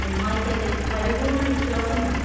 ഉമ്മായ്ക്കതിൽ പരിപൂർണവിശ്വാസമുണ്ട്.